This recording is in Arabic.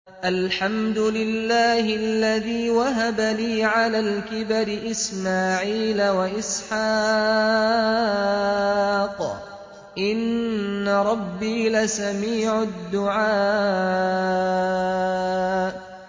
الْحَمْدُ لِلَّهِ الَّذِي وَهَبَ لِي عَلَى الْكِبَرِ إِسْمَاعِيلَ وَإِسْحَاقَ ۚ إِنَّ رَبِّي لَسَمِيعُ الدُّعَاءِ